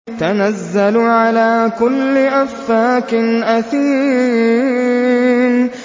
تَنَزَّلُ عَلَىٰ كُلِّ أَفَّاكٍ أَثِيمٍ